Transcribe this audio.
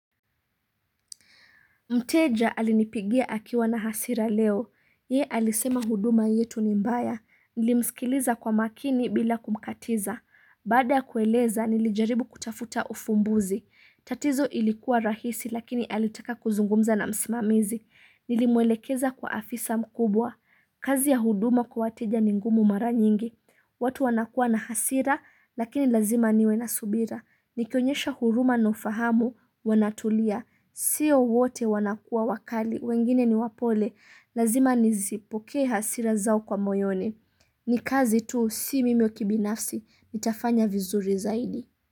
Mteja alinipigia akiwa na hasira leo. Ye alisema huduma yetu ni mbaya. Nilimsikiliza kwa makini bila kumkatiza. Baada ya kueleza, nilijaribu kutafuta ufumbuzi. Tatizo ilikuwa rahisi lakini alitaka kuzungumza na msimamizi. Nilimwelekeza kwa afisa mkubwa. Kazi ya huduma kwa wateja ni ngumu mara nyingi, watu wanakuwa na hasira lakini lazima niwe na subira, nikionyesha huruma na ufahamu wanatulia, sio wote wanakuwa wakali, wengine ni wapole, lazima nizipokee hasira zao kwa moyoni. Ni kazi tu, si mimi kibinafsi, nitafanya vizuri zaidi.